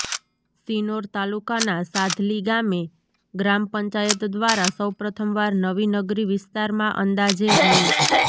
શિનોર તાલુકાના સાધલી ગામે ગ્રામ પંચાયત દ્વારા સૌપ્રથમવાર નવી નગરી વિસ્તારમાં અંદાજે રૃા